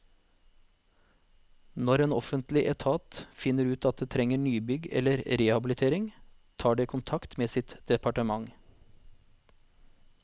Når en offentlig etat finner ut at det trenger nybygg eller rehabilitering, tar det kontakt med sitt departement.